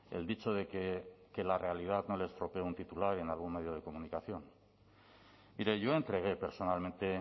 el dicho de que que la realidad no le estropee un titular en algún medio de comunicación mire yo entregué personalmente